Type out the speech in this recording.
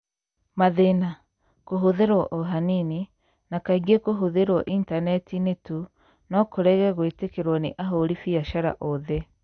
Mathĩna: Kũhũthĩrũo o hanini, na kaingĩ kũhũthĩrũo Intaneti-inĩ tu, no kũrege gwĩtĩkĩrũo nĩ ahũri biacara othe